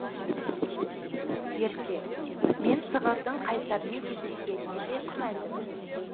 ерке мен сығырдың қайсармен кездескеніне де күмәндімін